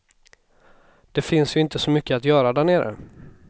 Det finns ju inte så mycket att göra där nere.